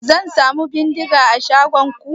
Zan samu beniga a shagonku?